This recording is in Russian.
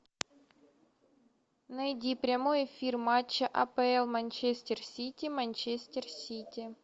найди прямой эфир матча апл манчестер сити манчестер сити